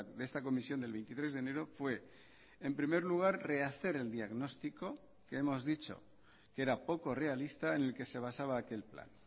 de esta comisión del veintitrés de enero fue en primer lugar rehacer el diagnóstico que hemos dicho que era poco realista en el que se basaba aquel plan